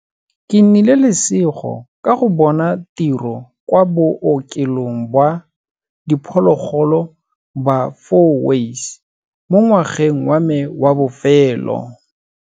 Ke nnile lesego ka go bona tiro kwa Bookelong ba Diphologolo ba Fourways mo ngwageng wa me wa bofelo.